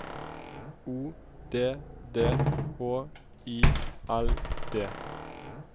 O D D H I L D